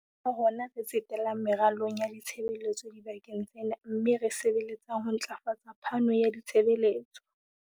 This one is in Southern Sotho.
Ke ka hona re tsetelang meralong ya ditshebeletso dibakeng tsena mme re sebeletsang ho ntlafatsa phano ya ditshebeletso.